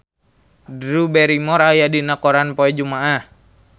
Drew Barrymore aya dina koran poe Jumaah